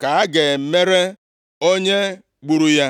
ka a ga-emere onye gburu ya.